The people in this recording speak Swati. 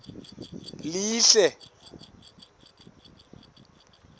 lihle